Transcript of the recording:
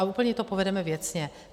A úplně to povedeme věcně.